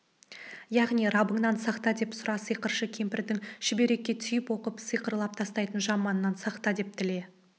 яғни раббыңнан сақта деп сұра сиқыршы кемпірдің шүберекке түйіп оқып сиқырлап тастайтын жаманнан сақта деп тіле